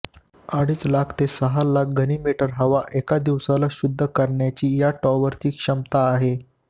अडीच लाख ते सहा लाख घनमीटर हवा एका दिवसाला शुद्ध करण्याची या टॉवरची क्षमता आहे